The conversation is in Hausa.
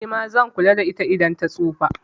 Nima zan kula da ita idan ta tsufa